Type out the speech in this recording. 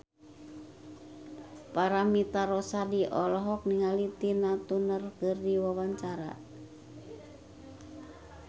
Paramitha Rusady olohok ningali Tina Turner keur diwawancara